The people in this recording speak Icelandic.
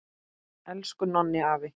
Elsku Nonni afi!